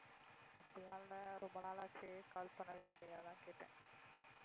அப்படியெல்லாம் இல்ல ரொம்ப நாள் ஆச்சே call பண்ணவே இல்லையே அதான் கேட்டேன்.